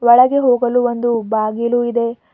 ಒಳಗೆ ಹೋಗಲು ಒಂದು ಬಾಗಿಲು ಇದೆ.